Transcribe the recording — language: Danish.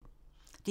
DR1